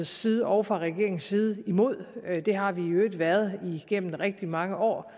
side og fra regeringens side imod det har vi i øvrigt været igennem rigtig mange år